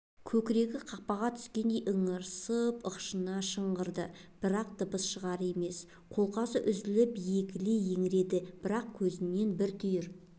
көкірегі қақпанға түскендей ыңырсып ышқына шыңғырды бірақ дыбысы шығар емес қолқасы үзлп егіле еңіреді бірақ көзінде бір түйір